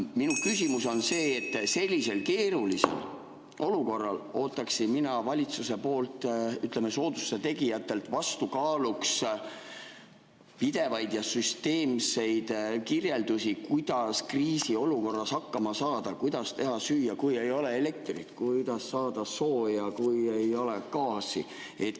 Minu küsimus on selles, et praeguses keerulises olukorras ootaksin mina valitsuselt kui soodustuse tegijatelt vastukaaluks pidevaid süsteemseid kirjeldusi selle kohta, kuidas kriisiolukorras hakkama saada: kuidas teha süüa, kui ei ole elektrit, kuidas saada sooja, kui ei ole gaasi.